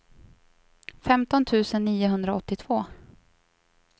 femton tusen niohundraåttiotvå